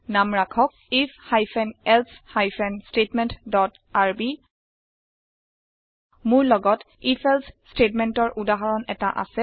নাম ৰাখক if hyphen else hyphen statement dot RB মোৰ লগত if এলছে স্টেতমেন্তৰ উদাহৰণ এটা আছে